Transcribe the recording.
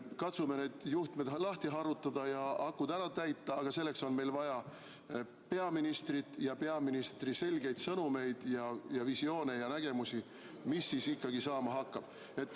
Katsume need juhtmed lahti harutada ja akud ära täita, aga selleks on meil vaja peaministrit ja peaministri selgeid sõnumeid ja visioone ja nägemusi, mis siis ikkagi saama hakkab.